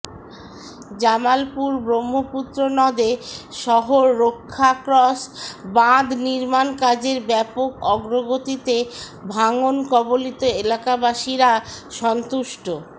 জামালপুর ব্রহ্মপুত্র নদে শহর রক্ষা ক্রস বাঁধ নির্মাণ কাজের ব্যাপক অগ্রগতিতে ভাঙ্গন কবলিত এলাকাবাসিরা সন্তুষ্ট